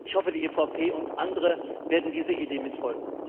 Ich hoffe, die EVP und andere werden dieser Idee mit folgen.